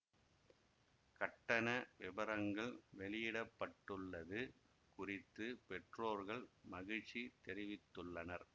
கட்டண விபரங்கள் வெளியிட பட்டுள்ளது குறித்து பெற்றோர்கள் மகிழ்ச்சி தெரிவித்துள்ளனர்